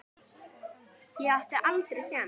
Ég átti aldrei séns.